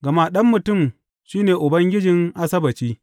Gama Ɗan Mutum shi ne Ubangijin Asabbaci.